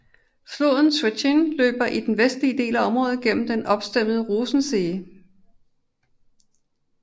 Floden Schwentine løber i den vestlige del af området gennem den opstemmede Rosensee